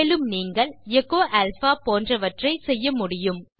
மேலும் நீங்கள் echo alpha போன்றவற்றை செய்ய முடியும்